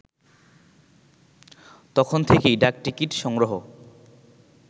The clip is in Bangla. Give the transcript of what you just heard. তখন থেকেই ডাকটিকিট সংগ্রহ